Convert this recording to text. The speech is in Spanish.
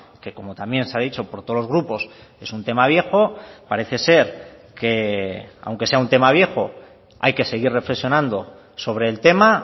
que como también se ha dicho por todos los grupos es un tema viejo parece ser que aunque sea un tema viejo hay que seguir reflexionando sobre el tema